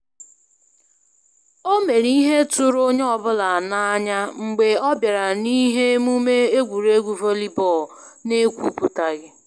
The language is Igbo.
O mere ịhe tụrụ onye ọ bụla n'anya mgbe ọ bịara na ihe omume egwuruegwu volleyball n'ekwupụtaghị